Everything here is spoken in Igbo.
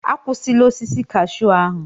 Akwụsịla osisi cashew ahụ!